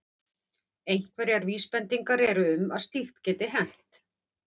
Einhverjar vísbendingar eru um að slíkt geti hent.